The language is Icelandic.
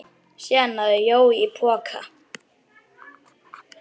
Síðan náði Jói í poka.